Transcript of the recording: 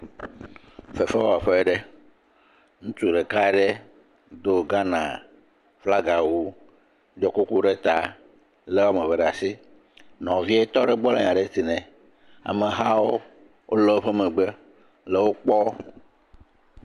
Fefewɔƒe ɖe, ŋutsu ɖeka ɖe do Ghana flaga wu, ɖɔ kuku ɖe ta kɔ, lé woame eve ɖe asi, nɔvie tɔ ɖe gbɔ le nya ɖe tsi nɛ, amehawo wole woƒe megbe le wo kpɔm.